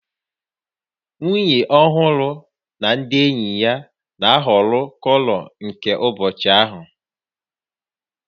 Nwunye ọhụrụ na ndị enyi ya na-ahọrọ kọlọ nke ụbọchị ahụ